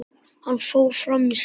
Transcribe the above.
Hann fór fram í sal.